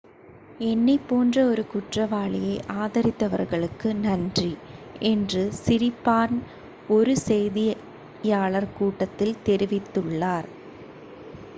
"""என்னைப் போன்ற ஒரு குற்றவாளியை ஆதரித்தவர்களுக்கு நன்றி" என்று சிரிபார்ன் ஒரு செய்தியாளர் கூட்டத்தில் தெரிவித்துள்ளார்.